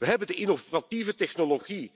We hebben de innovatieve technologie